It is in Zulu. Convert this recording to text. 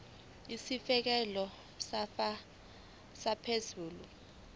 isitifikedi sakho sokuzalwa